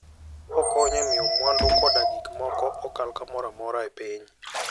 Okonyo e miyo mwandu koda gik moko okal kamoro amora e piny.